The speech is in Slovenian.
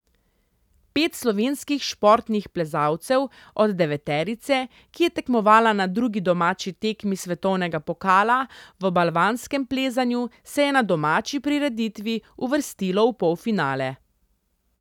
Pet slovenskih športnih plezalcev od deveterice, ki je tekmovala na drugi domači tekmi svetovnega pokala v balvanskem plezanju, se je na domači prireditvi uvrstilo v polfinale.